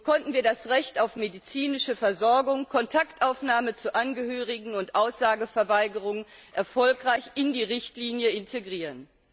So konnten wir das Recht auf medizinische Versorgung, Kontaktaufnahme zu Angehörigen und Aussageverweigerung erfolgreich in die Richtlinie integrieren.